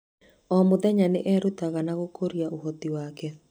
O mũthenya, nĩ erutaga na gũkũria ũhoti wake.